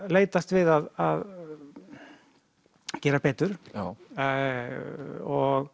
leitast við að gera betur og